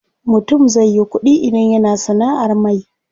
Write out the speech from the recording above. Mutum zai yi ƙuɗi idan yana sanaʼar mai.